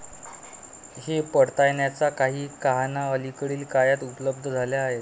हे पडताळण्याच्या काही कहाण्या अलीकडील काळात उपलब्ध झाल्या आहेत.